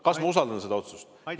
Kas ma usaldan seda otsust?